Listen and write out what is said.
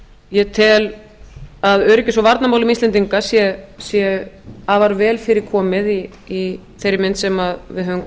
ég tel að öryggis og varnarmálum íslendinga sé afar vel fyrir komið í þeirri mynd sem við höfum